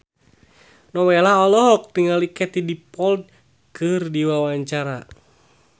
Nowela olohok ningali Katie Dippold keur diwawancara